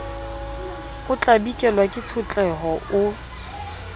o tlabikelwa ke tshotleho o